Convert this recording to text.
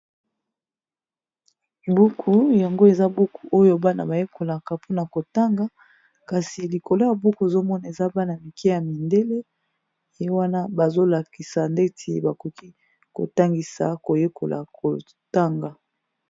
Buku yango eza buku oyo bana bayekolaka mpona kotanga kasi likolo ya buku ezomona eza bana mike ya mindele ye wana bazolakisa ndeti bakoki kotangisa koyekola kotanga.